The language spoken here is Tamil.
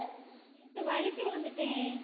நேத்து வழுக்கி விழுந்துட்டேன்